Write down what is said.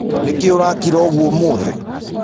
Nĩkĩ ũrakira ũgũo ũmũthĩ?